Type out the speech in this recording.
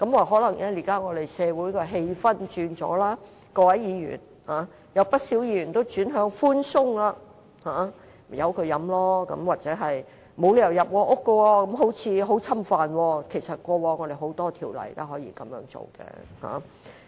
可能現時社會氣氛已有所轉變，在議員而言，不少議員也轉向寬鬆，任由人飲酒；又或認為沒有理由可入屋搜查，這做法似乎備受侵犯。